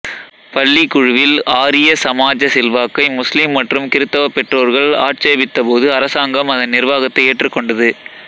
பள்ளி குழுவில் ஆரிய சமாஜ செல்வாக்கை முஸ்லிம் மற்றும் கிறிஸ்தவ பெற்றோர்கள் ஆட்சேபித்தபோது அரசாங்கம் அதன் நிர்வாகத்தை ஏற்றுக்கொண்டது